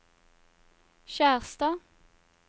Skjerstad